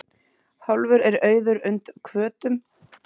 Hálfur er auður und hvötum.